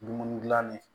Dumuni dilanni